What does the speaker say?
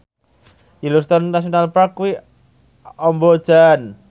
Yellowstone National Park kuwi amba jan